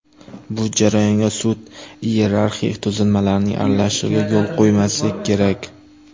Bu jarayonga sud iyerarxik tuzilmalarining aralashishiga yo‘l qo‘ymaslik kerak.